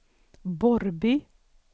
Borrby